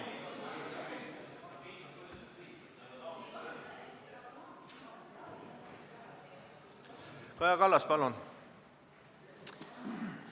Kaja Kallas, palun!